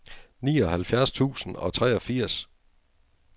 nioghalvfjerds tusind og treogfirs